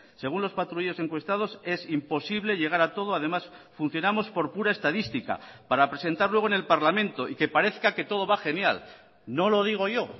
según las patrullas encuestados es imposible llegar a todo además funcionamos por pura estadística para presentar luego en el parlamento y que parezca que todo va genial no lo digo yo